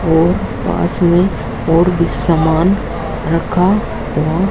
और पास में और भी सामान रखा हुआ--